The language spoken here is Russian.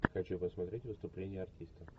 хочу посмотреть выступление артиста